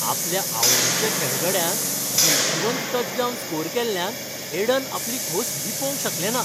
आपल्या आवडीच्या खेळगड्यान जैतिवंत टचडाउन स्कोर केल्ल्यान एडन आपली खोस लिपोवंक शकलें ना